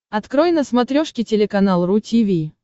открой на смотрешке телеканал ру ти ви